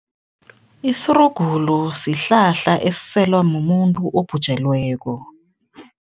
Isirugulu sihlahla esiselwa mumuntu obhujelweko.